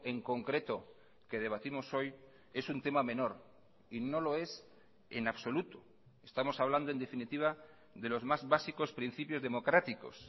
en concreto que debatimos hoy es un tema menor y no lo es en absoluto estamos hablando en definitiva de los más básicos principios democráticos